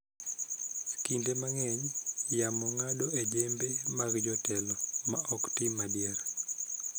Kinde mang�eny, yamo ng�ado e jembe mag jotelo ma ok tim adier,